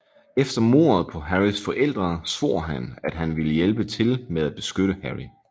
Efter mordet på Harrys forældre svor han at han ville hjælpe til med at beskytte Harry